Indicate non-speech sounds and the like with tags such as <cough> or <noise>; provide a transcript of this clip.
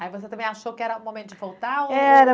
Aí você também achou que era o momento de voltar? <unintelligible> Era